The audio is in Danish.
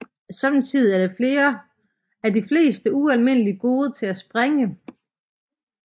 Samtidig er de fleste ualmindelig gode til at springe